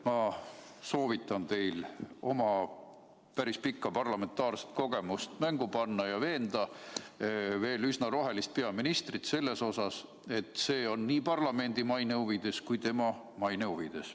Ma soovitan teil oma päris pikka parlamentaarset kogemust mängu panna ja veenda veel üsna rohelist peaministrit selles, et see on nii parlamendi maine huvides kui ka tema maine huvides.